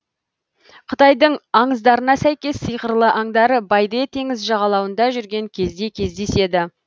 қытайдың аңыздарына сәйкес сиқырлы аңдар байде теңіз жағалауында жүрген кезде кездеседі